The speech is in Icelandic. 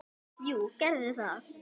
Jú, gerðu það!